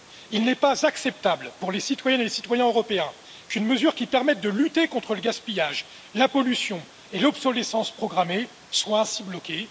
Il n'est pas acceptable pour les citoyennes et les citoyens européens qu'une mesure qui permet de lutter contre le gaspillage, la pollution et l'obsolescence programmée soit ainsi bloquée.